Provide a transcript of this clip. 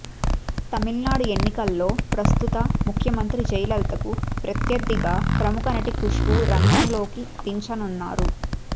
తమిళనాడు ఎన్నికల్లో ప్రస్తుత ముఖ్యమంత్రి జయలలితకు ప్రత్యర్దిగాప్రముఖ నటి కుష్బూ రంగంలోకి దించనున్నారు